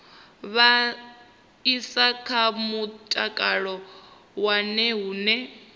vhaisala kha mutakalo wawe hune